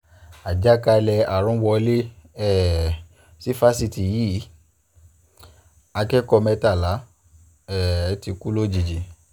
àjàkálẹ̀ àrùn wọlé um sí fásitì yìí akẹ́kọ̀ọ́ mẹ́tàlá um ti kú lójijì